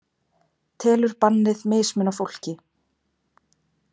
Telur bannið mismuna fólki